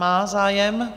Má zájem.